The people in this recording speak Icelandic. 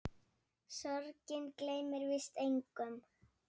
Sorgin gleymir víst engum.